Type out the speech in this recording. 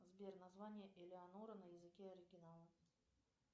сбер название элеонора на языке оригинала